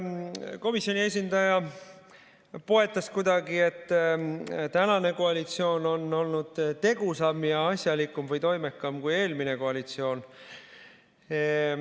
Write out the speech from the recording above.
Komisjoni esindaja poetas kuidagi, et tänane koalitsioon on olnud tegusam ja asjalikum või toimekam kui eelmine koalitsioon.